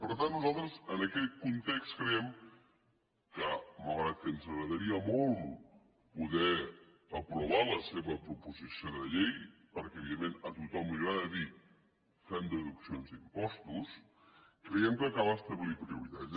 per tant nosaltres en aquest context creiem que malgrat que ens agradaria molt poder aprovar la seva proposició de llei perquè evidentment a tothom li agrada dir fem deduccions d’impostos creiem que cal establir prioritats